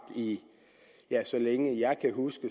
så længe jeg kan huske